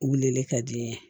Wulili ka di n ye